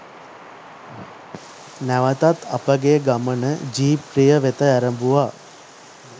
නැවතත් අපගේ ගමන ජීප් රිය වෙත ඇරඹුවා